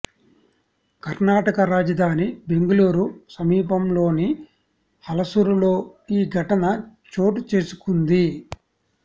కర్ణాటక రాజధాని బెంగళూరు సమీపంలోని హలసురులో ఈ ఘటన చోటు చేసుకుంది